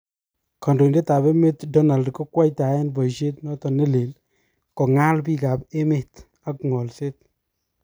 kondoidet ab emet Donald ,kokwaitaen boishet noton nelel'kongal' bik ab emet, ak ngolset.